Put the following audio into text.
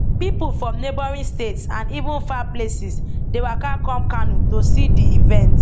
pipo from neighboring states and even far places dey waka come kano to see di event